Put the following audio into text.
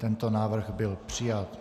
Tento návrh byl přijat.